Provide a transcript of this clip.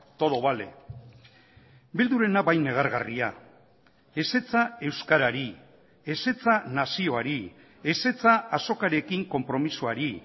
todo vale bildurena bai negargarria ezetza euskarari ezetza nazioari ezetza azokarekin konpromisoari